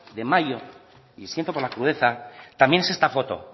de mayo y siento por la crudeza también es esta foto